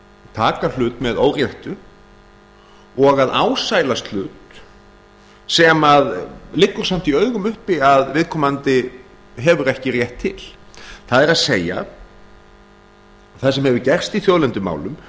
taka hlut með óréttu og að ásælast hlut sem að liggur samt í augum uppi að viðkomandi hefur ekki rétt til það er það sem hefur gerst í þjóðlendumálum